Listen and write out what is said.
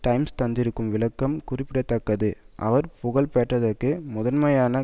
times தந்திருக்கும் விளக்கம் குறிப்பிட தக்கது அவர் புகழ் பெற்றதற்கு முதன்மையான